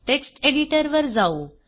text editor वर जाऊ